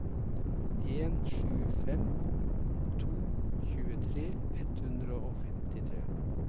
en sju fem to tjuetre ett hundre og femtitre